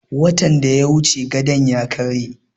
Watan da ya wuce gadon ya karye